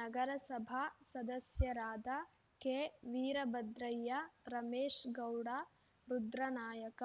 ನಗರಸಭಾ ಸದಸ್ಯರಾದ ಕೆವೀರಭದ್ರಯ್ಯ ರಮೇಶ್‌ಗೌಡ ರುದ್ರನಾಯಕ